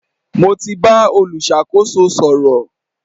Mo ti bá olùṣàkóso sọ̀rọ̀.